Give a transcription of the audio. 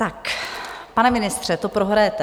Tak pane ministře, to prohrajete.